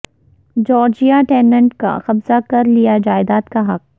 Georgia tenant کا قبضہ کر لیا جائیداد کا حق